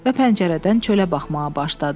Və pəncərədən çölə baxmağa başladı.